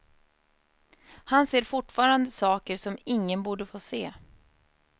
Han ser fortfarande saker som ingen borde få se.